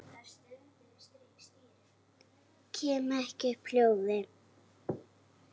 Kem ekki upp hljóði.